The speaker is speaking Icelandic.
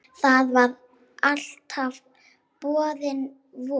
Það var alltaf borin von